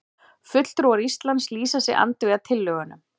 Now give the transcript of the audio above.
Fulltrúar Íslands lýsa sig andvíga tillögunum